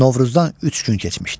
Novruzdan üç gün keçmişdi.